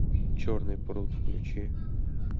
черный пруд включи